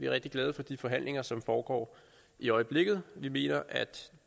rigtig glade for de forhandlinger som foregår i øjeblikket vi mener at